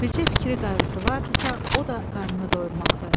Bircə fikri qayğısı varıdısa, o da qarnını doyurmaqdı.